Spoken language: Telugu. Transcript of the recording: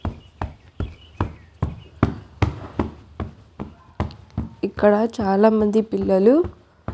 ఇక్కడ చాలా మంది పిల్లలు.